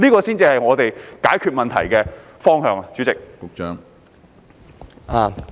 這才是解決問題的應有方向。